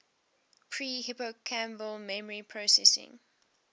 pre hippocampal memory processing